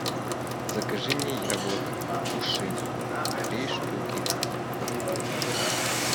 закажи мне яблок фуши три штуки